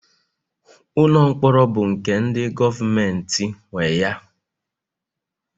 Ụlọ mkpọrọ bụ nke ndi govementi nwe ya